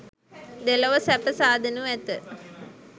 දෙලොව සැප සාදනු ඇත.